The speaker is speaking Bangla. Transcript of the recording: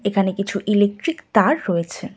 এখানে কিছু ইলেকট্রিক তার রয়েছে।